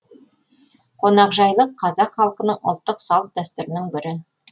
қонақжайлық қазақ халқының ұлттық салт дәстүрінің бірі